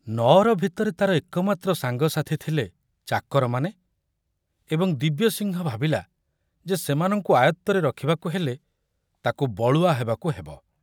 ନଅର ଭିତରେ ତାର ଏକମାତ୍ର ସାଙ୍ଗସାଥୀ ଥିଲେ ଚାକରମାନେ ଏବଂ ଦିବ୍ୟସିଂହ ଭାବିଲା ଯେ ସେମାନଙ୍କୁ ଆୟତ୍ତରେ ରଖିବାକୁ ହେଲେ ତାକୁ ବଳୁଆ ହେବାକୁ ହେବ।